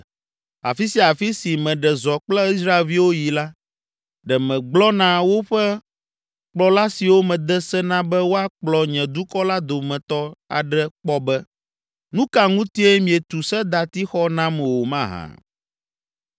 Afi sia afi si meɖe zɔ kple Israelviwo yi la, ɖe megblɔ na woƒe kplɔla siwo mede se na be woakplɔ nye dukɔ la dometɔ aɖe kpɔ be, “Nu ka ŋutie mietu sedatixɔ nam o mahã?” ’